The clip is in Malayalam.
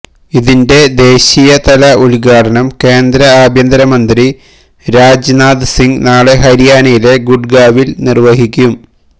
ഇതിന്റെ ദേശീയതല ഉദ്ഘാടനം കേന്ദ്ര ആഭ്യന്തര മന്ത്രി രാജ്നാഥ് സിങ് നാളെ ഹരിയാനയിലെ ഗുഡ്ഗാവിൽ നിർവഹിക്കും